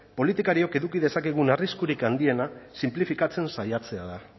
politikariok eduki dezakegun arriskurik handiena sinplifikatzen saiatzea da